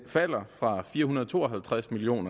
falder fra fire hundrede og to og halvtreds million